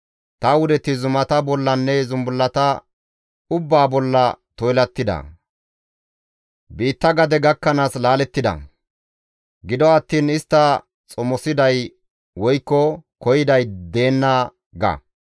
Ta wudeti zumata bollanne zumbullata ubbaa bolla toylattida. Biitta gade gakkanaas laalettida; gido attiin istta xomosiday woykko koyiday deenna› ga.